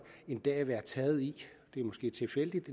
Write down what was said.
være taget i det er måske tilfældigt